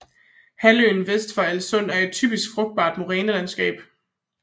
Halvøen vest for Alssund er et typisk frugtbart morænelandskab